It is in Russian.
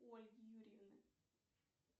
у ольги юрьевны